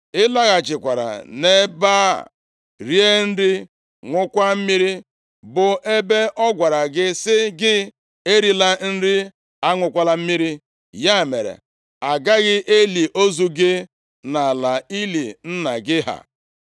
Ị laghachikwara nʼebe a, rie nri, ṅụọkwa mmiri, bụ ebe ọ gwara gị sị gị, erila nri, aṅụkwala mmiri. Ya mere, agaghị eli ozu gị nʼala ili nna gị ha.’ ”